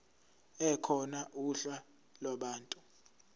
ekhona uhla lwabantu